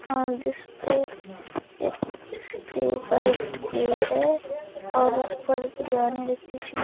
और जिसपे जिसपे व्हाइट प्लेट है और उस पर बिरयानी रखी हुई --